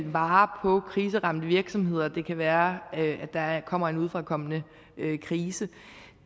vare på kriseramte virksomheder det kan være at der kommer en udefrakommende krise